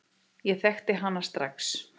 Ég þekkti hana strax.